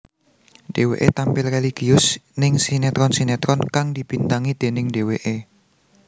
Dheweké tampil religius ning sinetron sinetron kang dibintangi déning dheweké